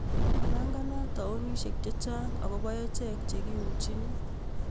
Mapanganat taonishek chechang akobo achek chekiuchini